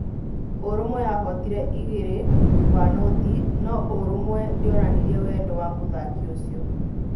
ũrũmwe yahootire igĩrĩ gwa noti no-ũrumwe ndĩonanirie wendo wa mũthaki ũcio.